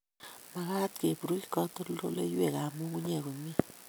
Makaat keburuch katoldoloiwek ak nyung'unyek komye